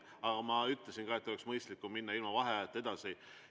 Aga ma ütlesin ka, et oleks mõistlikum minna ilma vaheajata edasi.